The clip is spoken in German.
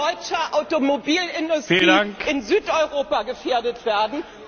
deutscher Automobilindustrie in Südeuropa gefährdet werden.